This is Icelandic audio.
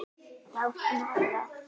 Já, hún er það.